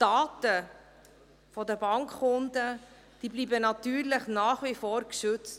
Die Daten der Bankkunden bleiben natürlich nach wie vor geschützt.